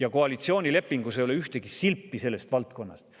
Aga koalitsioonilepingus ei ole ühtegi silpi selle valdkonna kohta.